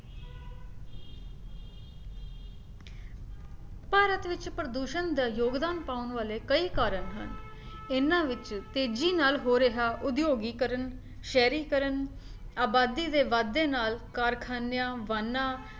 ਭਾਰਤ ਵਿੱਚ ਪ੍ਰਦੂਸ਼ਣ ਦਾ ਯੋਗਦਾਨ ਪਾਉਣ ਵਾਲੇ ਕਈ ਕਾਰਨ ਹਨ ਇਹਨਾਂ ਵਿੱਚ ਤੇਜੀ ਨਾਲ ਹੋ ਰਿਹਾ ਉਦਯੋਗੀਕਰਣ, ਸ਼ਹਿਰੀਕਰਣ, ਆਬਾਦੀ ਦੇ ਵੱਧਦੇ ਨਾਲ ਕਾਰਖਾਨਿਆਂ, ਵਾਹਨਾਂ